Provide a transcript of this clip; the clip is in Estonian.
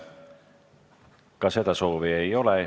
Ka seda soovi ei ole.